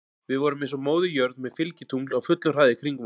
Við vorum eins og Móðir jörð með fylgitungl á fullum hraða í kringum okkur.